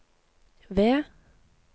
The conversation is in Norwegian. V